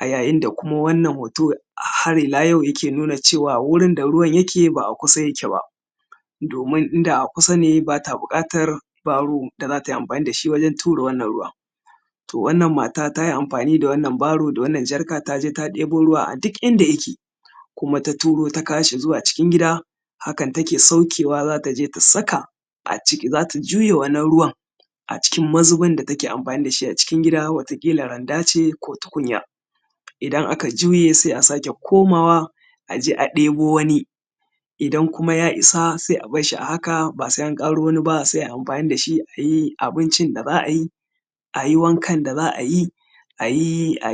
a yayin da kuma wannan hoto a har ila yau yake nuna cewa wurin da ruwan yake, ba a kusa yake ba, domin inda a kusa ne, ba ta buƙata baro da za ta amfani da shi wajen tura wannan ruwa. To, wannan mata ta yi amfani da wannan baro, da wannan jarka, ta je ta ɗibo ruwa a duk inda yake, kuma ta turo ta kawo shi zuwa cikin gida. Hakan take saukewa: za ta je ta saka a ciki, za ta juye wannan ruwan a cikin mazubin da take amfani da shi a cikin gida wata ƙila randa ce ko tukunya. Idan aka juye, ze a sake komawa a je a ɗebo wani, idan kuma ya isa, se a bar shi. A haka, ba sa in ƙara wani ba, se a yi amfani da shi: a yi abincin da za a yi, a yi wankan da za a yi, a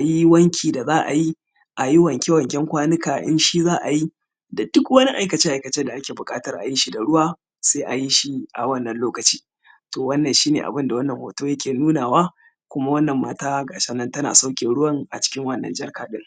yi wanki da za a yi, a yi wanke-wanken kwanika shi za a yi da duk wanni aikace-aikacen da ake buƙata a yi shi da ruwa, se a yishi a wannan lokacin. To, wannan shi ne abun da wannan hoto yake nunawa, kuma wannan mata tana sauke ruwan a cikin wannan jarkar ɗin.